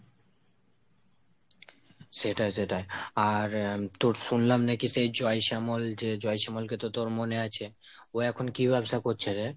সেটাই সেটাই। আর তোর শুনলাম নাকি সেই জয়শ্যামল, যে জয়শ্যামল কে তো তোর মনে আছে? ও এখন কী ব্যবসা করছে রে?